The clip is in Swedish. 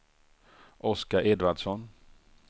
Oskar Edvardsson